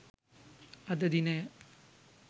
අද දිනය